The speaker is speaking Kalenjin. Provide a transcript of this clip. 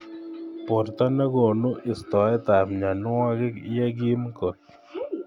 Borto ne konu istoet ab mnyonwekik yekim kot.